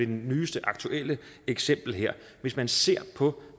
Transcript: det nyeste aktuelle eksempel her hvis man ser på